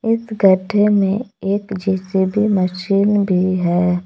इस गड्ढे में एक जे_सी_बी मशीन भी है।